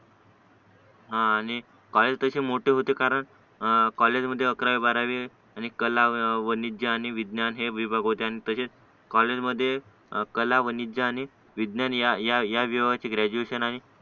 हा आणि कॉलेज तशे मोठे होते कारण कॉलेजमध्ये अकरावी बारावी कलावधी आणि विज्ञान हे विभाग होते आणि तसेच कॉलेजमध्ये कॉलेज वाणिज्य आणि विज्ञान या या विषयाचे ग्रॅज्युएशन आणि